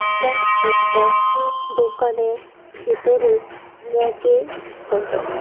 এটা একটা দোকানের ভিতরের ব়্যাকের ফটো ।